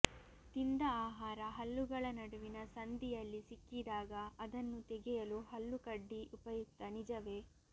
ತಿಂದ ಆಹಾರ ಹಲ್ಲುಗಳ ನಡುವಿನ ಸಂದಿಯಲ್ಲಿ ಸಿಕ್ಕಿದಾಗ ಅದನ್ನು ತೆಗೆಯಲು ಹಲ್ಲುಕಡ್ಡಿ ಉಪಯುಕ್ತ ನಿಜವೇ